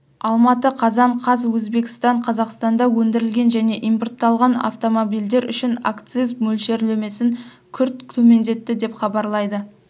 алматы қазан қаз өзбекстан қазақстанда өндірілген және импортталған автомобильдер үшін акциз мөлшерлемесін күрт төмендетті деп хабарлайды